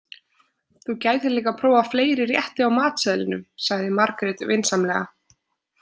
Þú gætir líka prófað fleiri rétti á matseðlinum, sagði Margrét vinsamlega.